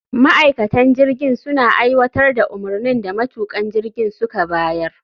Ma'aikatan jirgin suna aiwatar da umarnin da matukan jirgin suka bayar